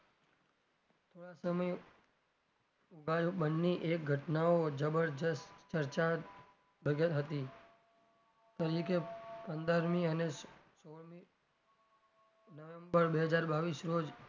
થોડાં સમય બાદ બંને એ ઘટનાઓ જબરજસ્ત ચર્ચા હતી તરીકે પંદરમી અને સોળમી નવેમ્બર બે હજાર બાવીશ રોજ,